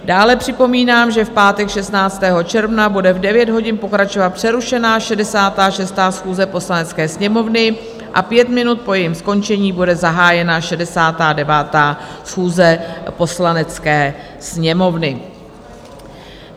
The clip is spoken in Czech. Dále připomínám, že v pátek 16. června bude v 9 hodin pokračovat přerušená 66. schůze Poslanecké sněmovny a pět minut po jejím skončení bude zahájena 69. schůze Poslanecké sněmovny.